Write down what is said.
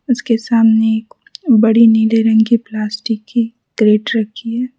उसके सामने बड़ी नीले रंग की प्लास्टिक की कैरेट रखी है।